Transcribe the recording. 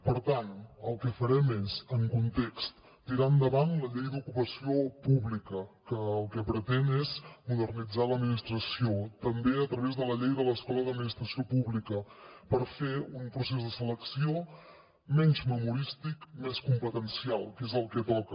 per tant el que farem és en context tirar endavant la llei d’ocupació pública que el que pretén és modernitzar l’administració també a través de la llei de l’escola d’administració pública per fer un procés de selecció menys memorístic més competencial que és el que toca